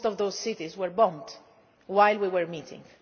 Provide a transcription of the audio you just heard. Most of those cities were bombed while we were